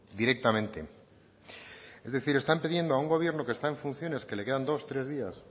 directamente es decir están pidiendo a un gobierno que está en funciones que le quedan dos tres días